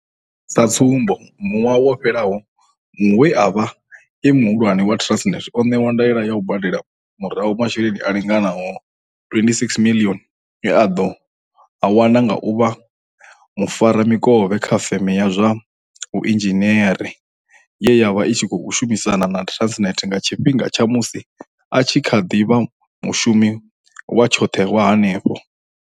Sa tsumbo, ṅwaha wo fhelaho, muṅwe we a vha e muhulwane wa Transnet o ṋewa ndaela ya u badela murahu masheleni a linganaho R26 miḽioni e a ḓo a wana nga u vha mufaramikovhe kha feme ya zwa vhuinzhiniere ye ya vha i tshi khou shumisana na Transnet nga tshifhinga tsha musi a tshi kha ḓi vha mushumi wa tshoṱhe wa henefho.